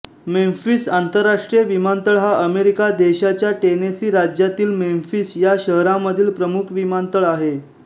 Memphis आंतरराष्ट्रीय विमानतळ हा अमेरिका देशाच्या टेनेसी राज्यातील मेम्फिस ह्या शहरामधील प्रमुख विमानतळ आहे